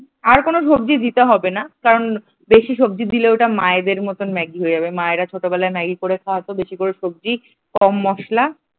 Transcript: আর কোন সবজি দিতে হবে না কারণ বেশি সবজি দিলে ওটা মায়েদের মতন ম্যাগি হয়ে যাবে। মায়েরা ছোটবেলায় ম্যাগি করে খা ওয়াতো বেশি করে সবজি কম মসলা ।